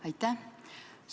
Aitäh!